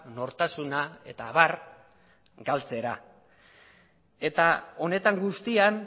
nortasuna eta abar galtzera eta honetan guztian